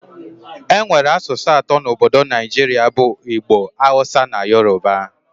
Enwere asụsụ atọ na Obodo Naijiria bụ Igbo, Hausa na Yoruba